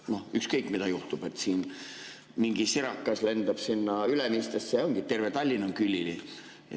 Noh, kui ükskõik mida juhtub, mingi sirakas lendab Ülemistesse, siis ongi terve Tallinn külili.